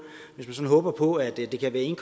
hvis man håber på at det kan være en